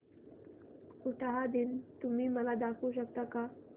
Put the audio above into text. उटाहा दिन तुम्ही मला दाखवू शकता का